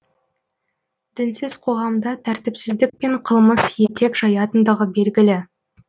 дінсіз қоғамда тәртіпсіздік пен қылмыс етек жаятындығы белгілі